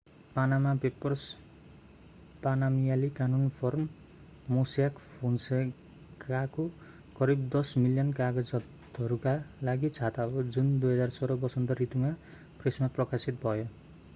पानामा Papers पानामियाली कानून firm Mossack फोन्सेकाको करिब 10 मिलियन कागजातहरूका लागि छाता हो जुन 2016 वसन्त ऋतुमा प्रेसमा प्रकाशित भयो